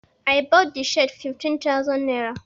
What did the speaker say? I bought the shirt fifteen thousand naira.